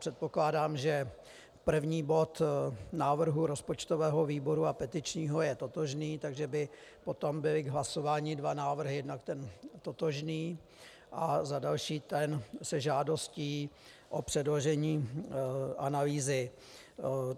Předpokládám, že první bod návrhu rozpočtového výboru a petičního je totožný, takže by potom byly k hlasování dva návrhy - jednak ten totožný a za další ten se žádostí o předložení analýzy.